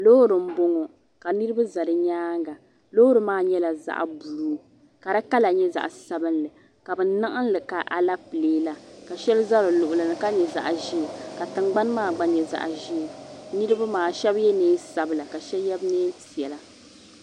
Loori mboŋɔ ka niriba za di nyaanga loori maa nyɛla zaɣa buluu ka di kala nyɛ zaɣa sabinli ka niɣinli ka Alapilee la sheli za di luɣini ka nyɛ zaɣa ʒee ka tingbani maa gba nyɛ zaɣaʒee niriba maa sheba yela niɛn sabila ka sheba ye niɛnpiɛla.